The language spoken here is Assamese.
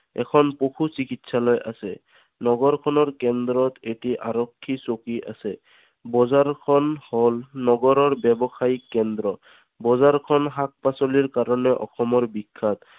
এখন পশু চিকিৎসালয় আছে। নগৰখনৰ কেন্দ্ৰত এটি আৰক্ষী চকী আছে। বজাৰ খন হল নগৰৰ ব্যৱসায়িক কেন্দ্ৰ। বজাৰ খন শাক পাচলিৰ কাৰণে অসমৰ বিখ্যাত।